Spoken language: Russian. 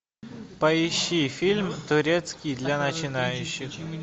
поищи фильм турецкий для начинающих